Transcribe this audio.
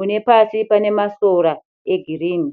unepasi panemasora egirinhi.